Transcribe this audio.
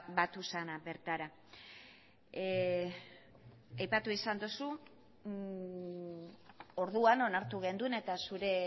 batu zena bertara aipatu izan duzu orduan onartu genuen eta zure